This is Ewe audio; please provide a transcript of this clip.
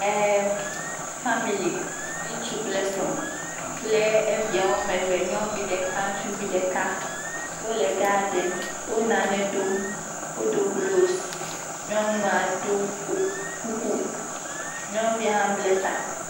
Ee famili, ŋutsu kple srɔ̃ kple evia woame eve, nyɔnuvi ɖeka, ŋutsuvi ɖeka, wole gadin, wo nane dom, wodo glovs, nyɔnua ɖo kuku, nyɔnuvia hã ble ta.